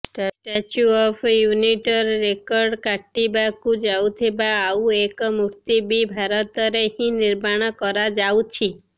statue of ୟୁନିଟର record କାଟିବାକୁ ଯାଉଥିବା ଆଉ ଏକ ମୁର୍ତ୍ତି ବି ଭାରତରେ ହିଁ ନିର୍ମାଣ କରାଯାଉଛି